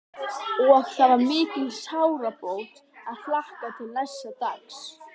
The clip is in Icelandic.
Og það var mikil sárabót að hlakka til næsta dags.